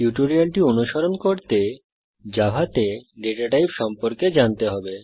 টিউটোরিয়ালটি অনুসরণ করতে জাভাতে ডেটা টাইপ সম্পর্কে জানতে হবে